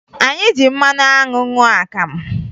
Anyị ji mmanụ anwụ ṅụọ akamụ